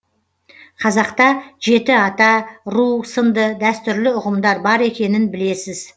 қазақта жеті ата ру сынды дәстүрлі ұғымдар бар екенін білесіз